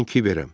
Mən Kiberəm.